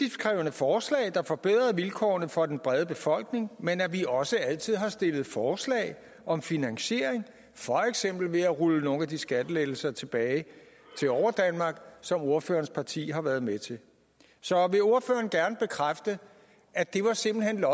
forslag der forbedrede vilkårene for den brede befolkning men at vi også altid har stillet forslag om finansieringen for eksempel ved at rulle nogle af de skattelettelser tilbage som ordførerens parti har været med til så vil ordføreren gerne bekræfte at det simpelt hen